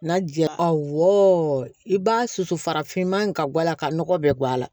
Na jara awɔ i b'a susu farafinman ka bɔ a la ka nɔgɔ bɛɛ bɔ a la